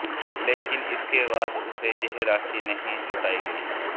लेकिन इसके बाद उसे यह राशि नहीं लौटाई गई